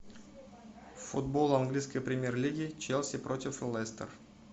футбол английской премьер лиги челси против лестер